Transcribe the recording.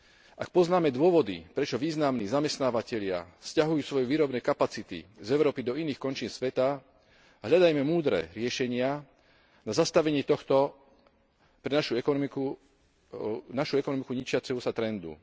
Ak poznáme dôvody, prečo významní zamestnávatelia sťahujú svoje výrobné kapacity z Európy do iných končín sveta, a hľadajme múdre riešenia na zastavenie tohto pre našu ekonomiku ničiaceho sa trendu.